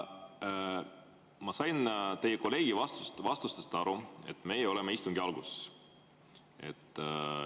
Ma sain teie kolleegi vastustest aru, et me oleme istungi alguses.